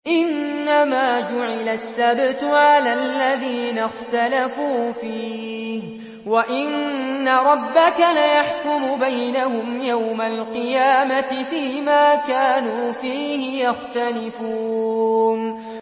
إِنَّمَا جُعِلَ السَّبْتُ عَلَى الَّذِينَ اخْتَلَفُوا فِيهِ ۚ وَإِنَّ رَبَّكَ لَيَحْكُمُ بَيْنَهُمْ يَوْمَ الْقِيَامَةِ فِيمَا كَانُوا فِيهِ يَخْتَلِفُونَ